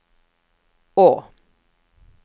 å